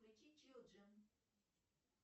включи чилджи